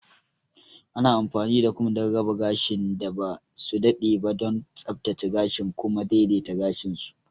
Ana amfani da kum don raba gashin da ba su daɗe ba, don tsaftace gashin da kuma daidaita gashin su.